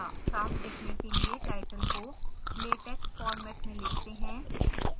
साफ दिखने के लिए टाइटल को latex फॉर्मेट में लिखते हैं